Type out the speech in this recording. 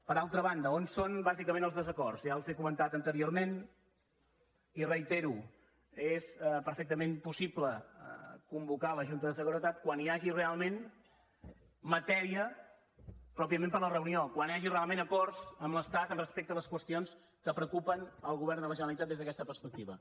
per altra banda on són bàsicament els desacords ja els ho he comentat anteriorment i ho reitero és perfectament possible convocar la junta de seguretat quan hi hagi realment matèria pròpiament per a la reunió quan hi hagi realment acords amb l’estat respecte a les qüestions que preocupen el govern de la generalitat des d’aquesta perspectiva